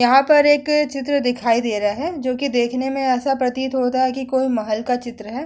यहां पर एक चित्र दिखाई दे रहा है जोकि देखने में ऐसा प्रतीत होता है की कोई महल का चित्र है |